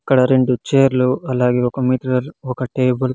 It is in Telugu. ఇక్కడ రెండు చేర్లు అలాగే ఒక మిర్రర్ ఒక టేబుల్ .